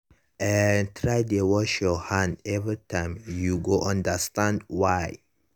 eh try dey wash your hand every time you go understand why.